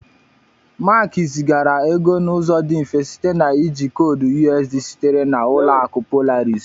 Mark zigara ego n'ụzọ dị mfe site na iji koodu USSD sitere na Ụlọakụ Polaris